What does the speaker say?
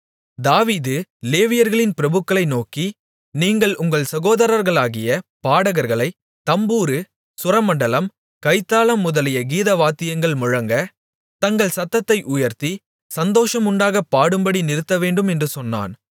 தாவீது லேவியர்களின் பிரபுக்களை நோக்கி நீங்கள் உங்கள் சகோதரர்களாகிய பாடகர்களைத் தம்புரு சுரமண்டலம் கைத்தாளம் முதலிய கீதவாத்தியங்கள் முழங்க தங்கள் சத்தத்தை உயர்த்தி சந்தோஷம் உண்டாகப் பாடும்படி நிறுத்தவேண்டும் என்று சொன்னான்